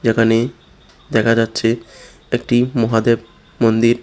যেখানে দেখা যাচ্ছে একটি মহাদেব মন্দির।